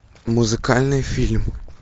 музыкальный фильм